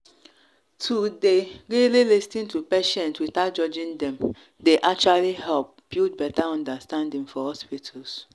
to dey really lis ten to patients without judging dem dey actually help build better understanding for hospitals.